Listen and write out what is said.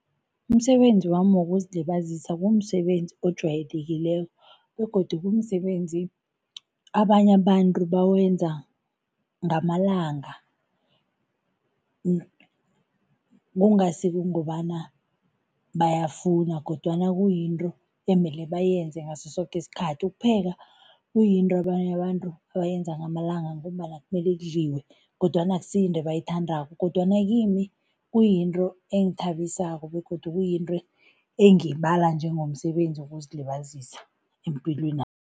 Umsebenzi wami wokuzilibazisa kumsebenzi ojwayelekileko begodu kumsebenzi abanye abantu bawenza ngamalanga kungasi kungobana bayafuna kodwana kuyinto emele bayenze ngaso soke isikhathi. Ukupheka kuyinto abanye abantu abayenza ngamalanga langa ngombana kumele kudliwe kodwana akusiyinto ebayithandako kodwana kimi kuyinto engithabisako begodu kuyinto engiyibala njengomsebenzi wokuzilibazisa empilwenami.